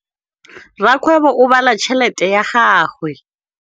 Rakgwêbô o bala tšheletê ya gagwe.